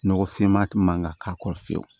Nɔgɔ finma man ka k'a kɔrɔ fiyewu